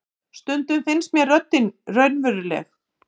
Stundum finnst mér röddin raunveruleg.